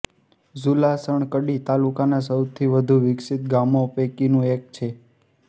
ઝુલાસણ કડી તાલુકાનાં સૌથી વધુ વિક્સિત ગામો પૈકીનું એક છે